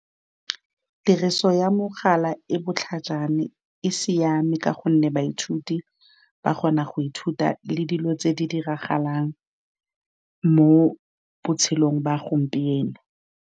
Tiriso ya mogala e botlhajana, e siame ka gonne baithuti ba kgona go ithuta le dilo tse di diragalang mo botshelong ba gompieno.